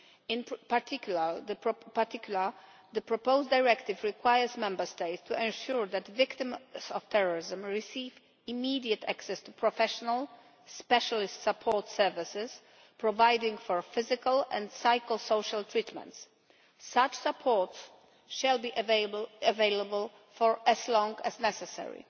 In particular, the proposed directive requires Member States to ensure that victims of terrorism receive immediate access to professional specialist support services providing for physical and psycho social treatment. Such support will be available for as long as necessary.